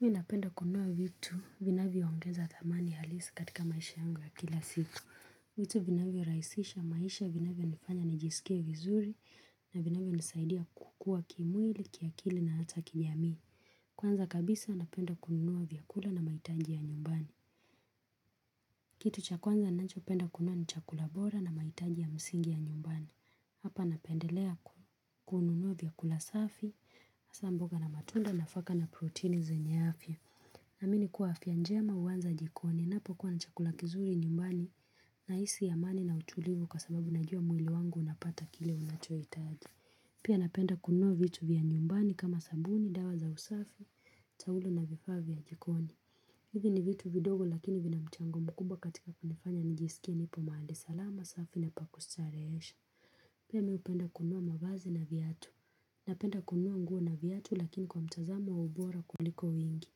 Mimi napenda kununua vitu vinavyoongeza thamani halisi katika maisha yangu ya kila siku vitu vinavyorahisisha maisha vinavyonifanya nijisikie vizuri na vinavyonisaidia kukua kimwili, kiakili na hata kijamii. Kwanza kabisa napenda kununua vyakula na mahitaji ya nyumbani. Kitu cha kwanza ninachopenda kununua ni chakula bora na mahitaji ya msingi ya nyumbani hapa napendelea kununua vyakula safi hasa mboga na matunda nafaka na protini zenye afya. Naamini kuwa afya njema huanza jikoni, ninapokuwa na chakula kizuri nyumbani nahisi amani na utulivu kwa sababu najua mwili wangu unapata kile unachohitaji. Pia napenda kununua vitu vya nyumbani kama sabuni, dawa za usafi, taulo na vifaa vya jikoni. Hivi ni vitu vidogo lakini vina mchango mkubwa katika kunifanya nijisikie nipo mahali salama safi na pa kustarehesha. Pia mimi hupenda kununua mavazi na viatu. Napenda kununua nguo na viatu lakini kwa mtazamo wa ubora kuliko wingi.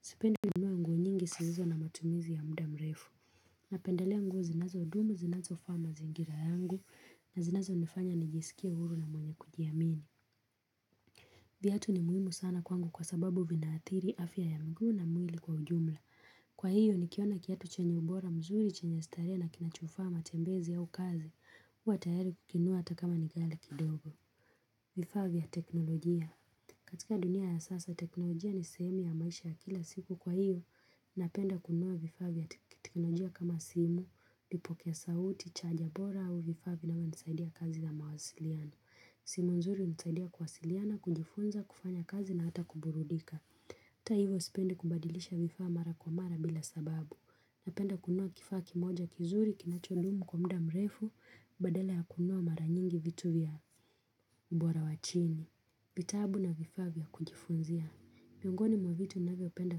Sipendi kununua nguo nyingi zisizo na matumizi ya muda mrefu napendelea nguo zinazodumu zinazofaa mazingira yangu na zinazonifanya nijisikie huru na mwenye kujiamini. Viatu ni muhimu sana kwangu kwa sababu vinaathiri afya ya mguu na mwili kwa ujumla kwa hiyo nikiona kiatu chenye ubora mzuri chenye starehe na kinachofaa matembezi au kazi huwa tayari kukinunua hata kama ni ghali kidogo. Vifaa vya teknolojia katika dunia ya sasa, teknolojia ni sehemu ya maisha ya kila siku kwa hiyo, napenda kununua vifaa vya teknolojia kama simu, vipokea sauti, chaja bora au vifaa vinavyonisaidia kazi na mawasiliano. Simu nzuri hunisaidia kuwasiliana, kujifunza, kufanya kazi na hata kuburudika. Hata hivyo sipendi kubadilisha vifaa mara kwa mara bila sababu. Napenda kununua kifaa kimoja kizuri, kinachodumu kwa muda mrefu, badala ya kununua mara nyingi vitu vya ubora wa chini. Vitabu na vifaa vya kujifunzia miongoni mwa vitu ninavyopenda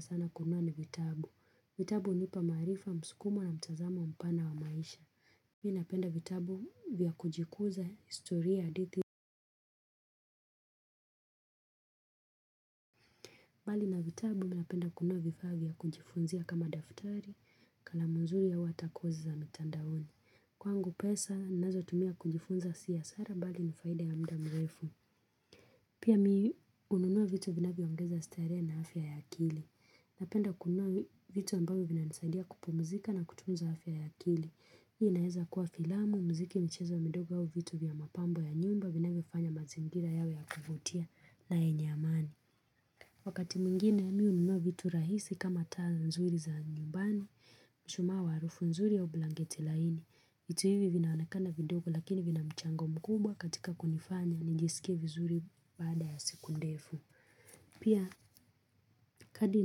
sana kununua ni vitabu vitabu hunipa maarifa, msukumo na mtazamo mpana wa maisha mimi napenda vitabu vya kujikuza, historia, hadithi. Bali na vitabu napenda kununua vifaa vya kujifunzia kama daftari nakala mzuri au hata kozi za mitandaoni. Kwangu pesa ninazotumia kujifunza si hasara bali ni faida ya muda mrefu. Pia mimi hununua vitu vinavyoongeza starehe na afya ya akili. Napenda kununua vitu ambavyo vinanisaidia kupumzika na kutunza afya ya kili. Hii inaweza kuwa filamu, muziki, michezo midogo au vitu vya mapambo ya nyumba vinavyofanya mazingira yawe ya kuvutia na yenye amani. Wakati mwingine mimi hununua vitu rahisi kama taa nzuri za nyumbani, mshumaa wa harufu nzuri au blanketi laini. Vitu hivi vinaonekana vidogo lakini vina mchango mkubwa katika kunifanya nijisike vizuri baada ya siku ndefu. Pia kadiri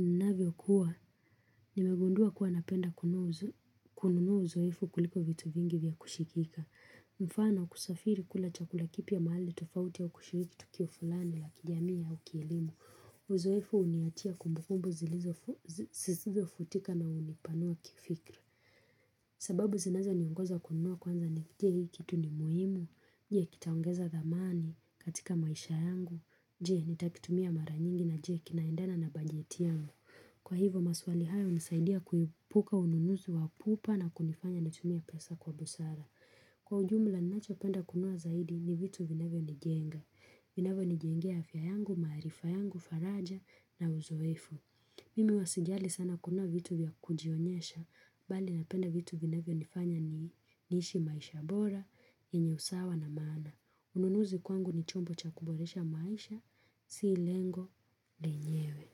ninavyokuwa nimegundua kuwa napenda kununua uzoefu kuliko vitu vingi vya kushikika. Mfano kusafiri kula chakula kipya mahali tofauti au kushiriki tukio fulani la kijamii au kielimu. Uzoefu huniachia kumbukumbu zisizofutika na hunipanua kifikira. Sababu zinazoniongoza kununua kwanza ni je hii kitu ni muhimu. Je kitaongeza thamani katika maisha yangu. Je, nitakitumia mara nyingi na je, kinaendana na bajeti yangu. Kwa hivyo, maswali haya hunisaidia kuepuka ununuzi wa pupa na kunifanya nitumie pesa kwa busara. Kwa ujumla, ninachopenda kununua zaidi ni vitu vinavyonijenga. Vinavyonijengea afya yangu, maarifa yangu, faraja na uzoefu. Mimi huwa sijali sana kuwa na vitu vya kujionyesha, bali napenda vitu vinavyonifanya niishi maisha bora, yenye usawa na maana. Ununuzi kwangu ni chombo cha kuboresha maisha si lengo lenyewe.